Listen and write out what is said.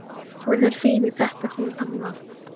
Hún er fín í þetta hún amma.